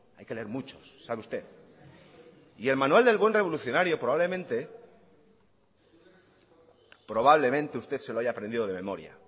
hay que leer muchos sabe usted y el manual del buen revolucionario probablemente probablemente usted se lo haya aprendido de memoria